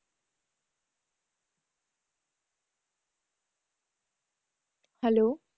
Hello?